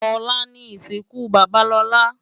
Olá ni isinkú baba Lola